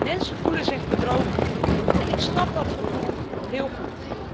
Mensen voelen zich bedrogen en ik snap dat gevoel heel goed.